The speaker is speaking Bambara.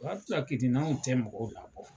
O waati la kun tɛ mɔgɔw la bɔ.